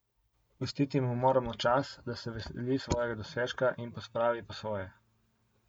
Pustiti mu moramo čas, da se veseli svojega dosežka in pospravi po svoje.